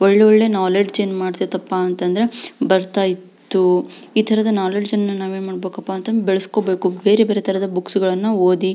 ಒಳ್ಳೊಳ್ಳೆ ನಾಲೆಜ್ ಏನ್ ಮಾಡತೈತ್ ಅಪ ಅಂದ್ರೆ ಬರ್ತಾ ಇತ್ತು ಈ ತರದ ನಾಲೆಜ್ ಏನಪ್ಪಾ ಅಂತಂದ್ರೆ ಬೆಳೆಸಿಕೊಬೇಕು ಬೇರೆ ಬೇರೆ ತರದ ಬುಕ್ಸ್ ಗಳನ್ನೂ ಓದಿ.